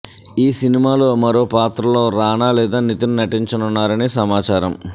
ఈ సినిమాలో మరో పాత్రలో రానా లేదా నితిన్ నటించనున్నారని సమాచారం